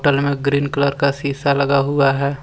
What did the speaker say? घर मे green colour का शीशा लगा हुआ है।